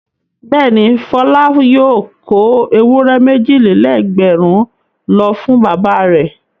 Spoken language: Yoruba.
Bẹ́ẹ̀ni, Fọlá yóò kó ewúrẹ́ méjì-lé-lẹ́gbẹ̀rún lọ fún bàbá rẹ̀.